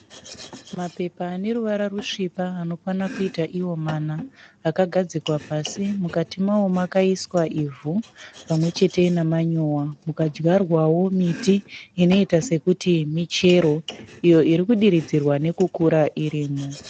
Mapepa aneruvara rusvipa anokwanakuita iwo mana akagadzikwa pasi mukati mawo makaiswa ivhu pamwe chete nemanyuwa mukadyarwawo miti inoita sekuti michero iyo irikudiridzirwa nekukura irimo.